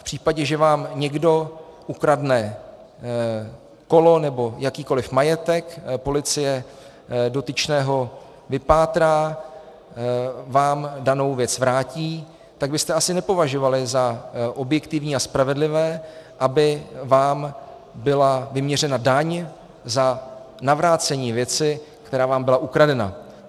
V případě, že vám někdo ukradne kolo nebo jakýkoli majetek, policie dotyčného vypátrá, vám danou věc vrátí, tak byste asi nepovažovali za objektivní a spravedlivé, aby vám byla vyměřena daň za navrácení věci, která vám byla ukradena.